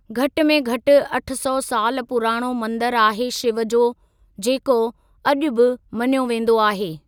घटि में घटि अठ सौ साल पुराणो मंदिरु आहे शिव जो जेको अॼु बि मञियो वेंदो आहे।